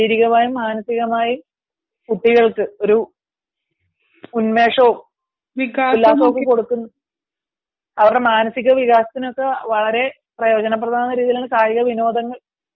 ശാരീരികമായിമ മാനസികമായും കുട്ടികൾക്ക് ഒരു ഉന്മേഷം ഉണ്ടാക്കി കൊടുക്കുന്നതിൽ അവരുടെ മാനസിക വികാസത്തിന് ഒക്കെ വളരെ പ്രയോജന പ്രദമാകുന്ന രീതിയിൽ വിനോദങ്ങൾ